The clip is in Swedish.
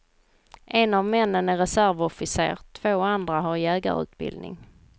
En av männen är reservofficer, två andra har jägarutbildning.